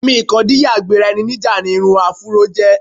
Àmì ìkọdíyà-gbera-ẹni-níjà ni irun afúró jẹ́.